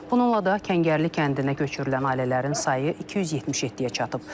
Bununla da Kəngərli kəndinə köçürülən ailələrin sayı 277-yə çatıb.